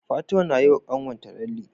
Fatima nayi wa kanwar ta lalle